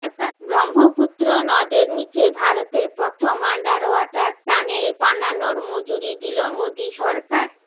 ব্রহ্মপুত্র নদের নীচে ভারতের প্রথম আন্ডার ওয়াটার টানেল বানানোর মঞ্জুরি দিলো মোদী সরকার